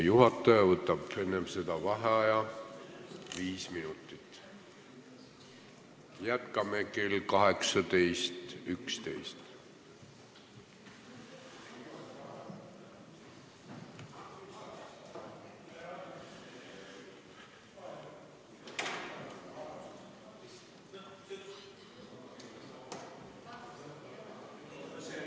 Juhataja võtab enne seda viis minutit vaheaega.